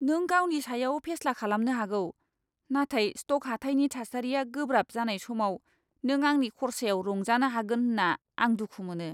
नों गावनि सायाव फेस्ला खालामनो हागौ, नाथाय स्ट'क हाथाइनि थासारिया गोब्राब जानाय समाव नों आंनि खर्सायाव रंजानो हागोन होन्ना आं दुखु मोनो।